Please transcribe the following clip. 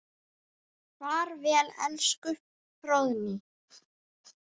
Far vel elsku Fróðný.